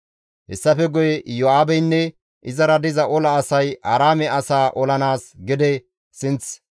Hessafe guye Iyo7aabeynne izara diza ola asay Aaraame asaa olanaas gede sinth hordofides; Aaraame asay istta sinththafe baqatides.